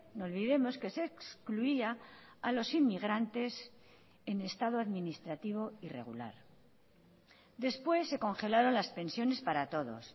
no olvidemos que se excluía a los inmigrantes en estado administrativo irregular después se congelaron las pensiones para todos